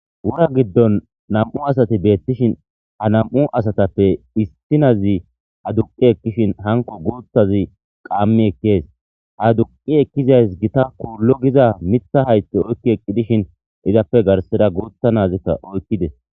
Wora gidon nam,u asati betosona ha nam,u asatappe issi na,zi aduqi ekishin hanko guthazi qami ekes aduqi eqizayi githa qolu giza mitha hayithe oyiki ekishin izappe garsara gutha na,azika oyikis